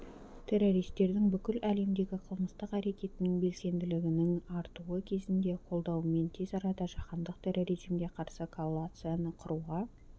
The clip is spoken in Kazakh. террористердің бүкіл әлемдегі қылмыстық әрекетінің белсенділінің артуы кезінде қолдауымен тез арада жаһандық терроризмге қарсы коалицияны құруға